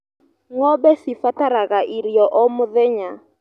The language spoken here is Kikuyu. Ngombe cibataraga irio o mũthenya.